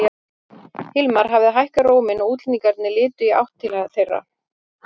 Hilmar hafði hækkað róminn og útlendingarnir litu í áttina til þeirra.